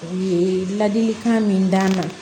U ye ladilikan min d'an ma